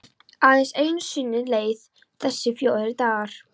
Aðeins einu sinni leið þessi fjórði dagur.